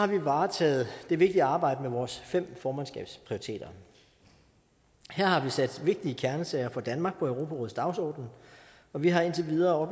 vi varetaget det vigtige arbejde med vores fem formandskabsprioriteter her har vi sat vigtige kernesager for danmark på europarådets dagsorden og vi har indtil videre